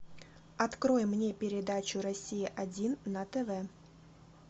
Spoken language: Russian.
открой мне передачу россия один на тв